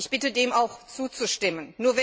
Ich bitte, dem auch zuzustimmen.